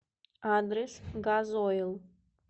адрес газойл